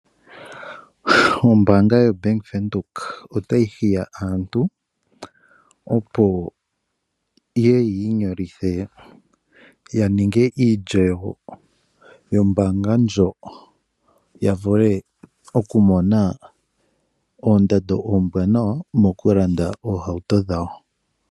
Ombaanga yoBank Windhoek otayi hili aantu opo yeye yiinyolithe yaninge iilyo yoombaanga ndjo yavule okumona oondando ombwaanawa mokulanda iihauto dhawo